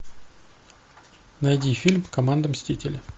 найди фильм команда мстители